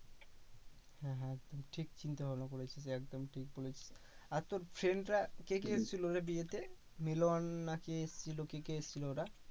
হ্যাঁ হ্যাঁ একদম ঠিক চিন্তাভাবনা করেছিস একদম ঠিক বলেছিস। আর তোর friend রা কে কে এসেছিলো রে বিয়েতে? মিলন না কে এসেছিলো? কে কে এসেছিলো ওরা?